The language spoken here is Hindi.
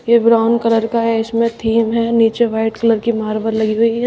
ये ब्राउन कलर का है इसमें थीम है नीचे वाइट कलर की मार्बल लगी हुई है।